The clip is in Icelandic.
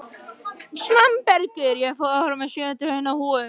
Svanbergur, ég kom með sjötíu og eina húfur!